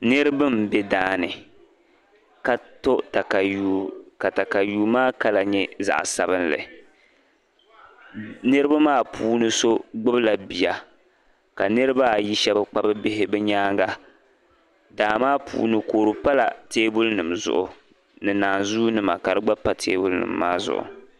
Niriba m bɛ daani ka to takayui ka takayu maa kala nyɛ zaɣ'sabinli niriba maa puuni so gbubila bia ka niriba shɛba kpabi bihi bɛ nyaaŋa daa maa puuni kɔdu pala teebulinima zuɣu ni naanzua nima ka kpa pa teebuli nima maa zuɣu.